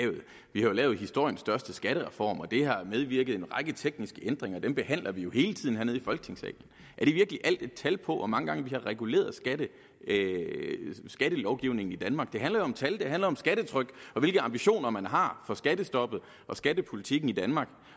vi har jo lavet historiens største skattereform og det har bevirket en række tekniske ændringer dem behandler vi jo hele tiden hernede i folketingssalen er det virkelig alt et tal på hvor mange gange vi har reguleret skattelovgivningen i danmark det handler jo om tal det handler om skattetryk og hvilke ambitioner man har for skattestoppet og skattepolitikken i danmark